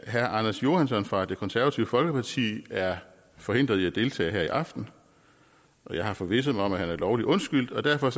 herre anders johansson fra det konservative folkeparti er forhindret i at deltage her i aften jeg har forvisset mig om at han er lovlig undskyldt og derfor